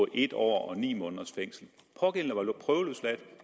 en år og ni måneders fængsel pågældende var prøveløsladt